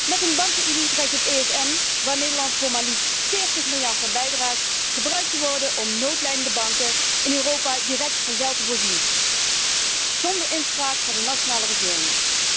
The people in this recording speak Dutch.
Met een bankenunie dreigt het ESM, waar Nederland voor maar liefst 40 miljard euro aan bijdraagt, gebruikt te worden om noodlijdende banken in Europa direct van geld te voorzien zónder inspraak van de nationale regeringen.